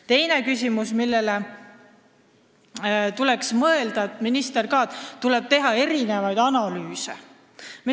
Teine küsimus, millele peaks mõtlema ka minister, on see, et tuleb teha erinevaid analüüse.